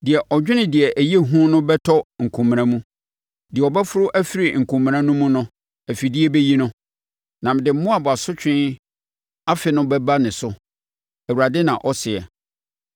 “Deɛ ɔdwane deɛ ɛyɛ hu no bɛtɔ nkomena mu, deɛ ɔbɛforo afiri nkomena no mu no, afidie bɛyi no; na mede Moab asotwe afe no bɛba ne so,” Awurade na ɔseɛ.